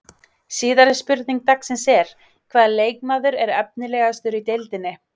Síðari spurning dagsins er: Hvaða leikmaður er efnilegastur í deildinni?